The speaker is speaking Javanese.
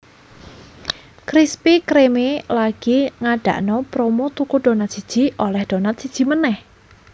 Krispy Kreme lagi ngadakno promo tuku donat siji oleh donat siji meneh